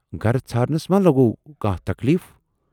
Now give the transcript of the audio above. گَرٕ ژھارنَس ما لوگوٕ کانہہ تکلیٖف۔